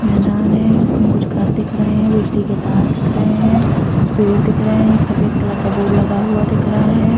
मैदान है उसमें कुछ घर दिख रहे है बिजली के तार दिख रहे है पेड़ दिख रहा है एक सफ़ेद कलर का बोर्ड लगा हुआ दिख रहा है |